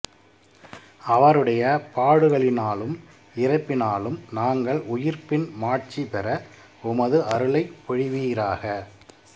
அவருடைய பாடுகளினாலும் இறப்பினாலும் நாங்கள் உயிர்ப்பின் மாட்சி பெற உமது அருளைப் பொழிவீராக